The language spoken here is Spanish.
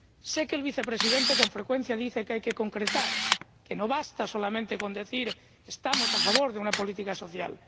Sé que el Vicepresidente, con frecuencia, dice que hay que concretar, que no basta solamente con decir que estamos a favor de una política social.